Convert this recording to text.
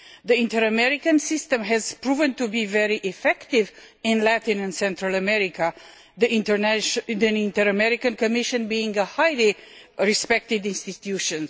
The Inter American system has proven to be very effective in Latin and Central America, the Inter American Commission being a highly respected institution.